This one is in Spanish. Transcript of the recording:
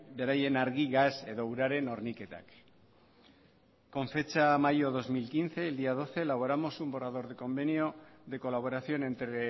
beraien argi gas edo uraren horniketak con fecha de mayo dos mil quince el día doce elaboramos un borrador de convenio de colaboración entre